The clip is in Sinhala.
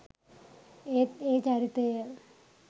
ඒත් ඒ චරිතය